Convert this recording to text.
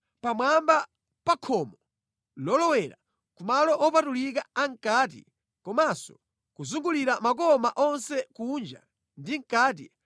pamwamba pa khomo lolowera ku malo opatulika amʼkati komanso kuzungulira makoma onse kunja ndi mʼkati,